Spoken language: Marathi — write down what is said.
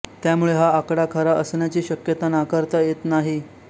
त्यामुळे हा आकडा खरा असण्याची शक्यता नाकारता येत नाही